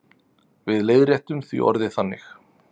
Við leiðréttum því orðið þannig.